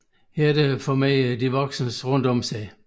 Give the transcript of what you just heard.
Herefter formerer de voksne rundorm sig